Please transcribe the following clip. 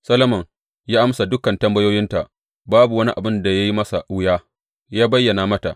Solomon ya amsa dukan tambayoyinta; babu wani abin da ya yi masa wuya yă bayyana mata.